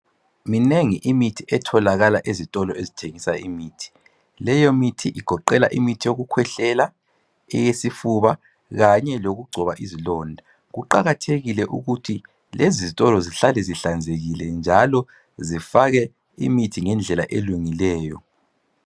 Minengi imithi etholakala ezitolo ezithengiswa imithi. Leyo mithi igoqela imithi yokukhwehlela eyesifuba kanye leyokugcoba izilonda. kuqakathekile ukuthi lezi zitolo zihlale zihlanzekile njalo zifake imithi ngendlela elungileyo.